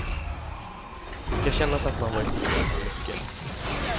Det ska kännas att man varit med om mycket.